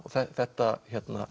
þetta